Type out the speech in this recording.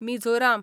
Mizoram